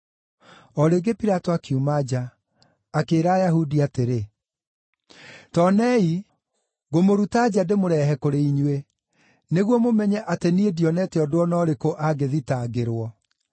O rĩngĩ Pilato akiuma nja, akĩĩra Ayahudi atĩrĩ, “Ta onei ngũmũruta nja ndĩmũrehe kũrĩ inyuĩ, nĩguo mũmenye atĩ niĩ ndionete ũndũ o na ũrĩkũ angĩthitangĩrwo.”